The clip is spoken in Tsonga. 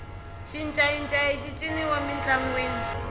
xincayincayi xi ciniwa mintlangwini